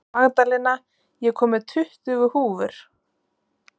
Magdalena, ég kom með tuttugu húfur!